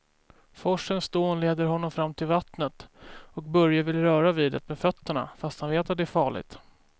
Forsens dån leder honom fram till vattnet och Börje vill röra vid det med fötterna, fast han vet att det är farligt.